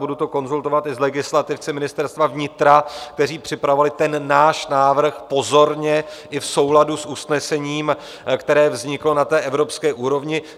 Budu to konzultovat i s legislativci Ministerstva vnitra, kteří připravovali ten náš návrh pozorně i v souladu s usnesením, které vzniklo na té evropské úrovni.